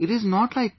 It is not like that